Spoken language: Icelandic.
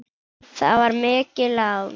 Það var mikið lán.